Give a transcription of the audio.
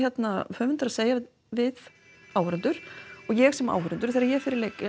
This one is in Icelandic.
höfundur að segja við áhorfendur og ég sem áhorfandi þegar ég fer í